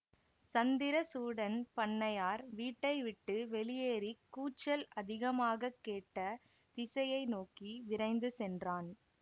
சந்திரசூடன் பண்ணையார் வீட்டை விட்டு வெளியேறிக் கூச்சல் அதிகமாக கேட்ட திசையை நோக்கி விரைந்து சென்றான்